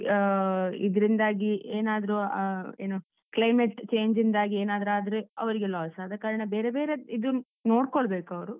ಆಹ್ ಇದ್ರಿಂದಾಗಿ ಏನಾದ್ರೂ ಆಹ್ ಏನು climate change ಯಿಂದಾಗಿ ಏನಾದ್ರೂ ಆದ್ರೆ ಅವರಿಗೆ loss ಆದಕಾರಣ, ಬೇರೆ ಬೇರೆ ಇದು ನೋಡ್ಕೋಳ್ಬೇಕು ಅವರು.